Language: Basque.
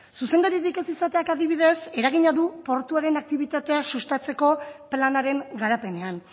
zuzendaririk ez izateak adibidez eragina du portuaren aktibitatea sustatzeko planaren garapenean